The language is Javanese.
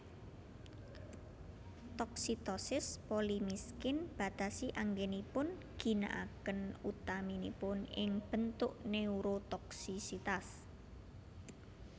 Toksitosis polimiskin batasi anggenipun ginaaken utaminipun ing bentuk neurotoksisitas